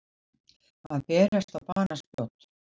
Að berast á banaspjót